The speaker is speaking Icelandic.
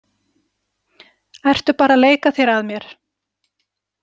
Ertu bara að leika þér að mér?